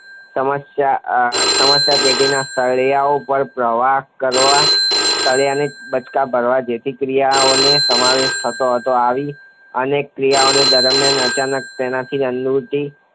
સમસ્યા આ અ સમસ્યા પેટીના સળિયાઓ પર પ્રહારો કરવા, સળિયાને બચકાં ભરવા જેવી ક્રિયાઓનો સમાવેશ થતો હતો. આવી અનેક ક્રિયાઓ દરમ્યાન અચાનક તેનાથી અન્નગુટિકા